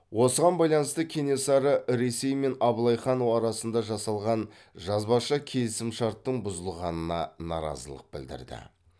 осыған байланысты кенесары ресей мен абылай хан оарасында жасалған жазбаша келісімшарттың бұзылғанына наразылық білдірді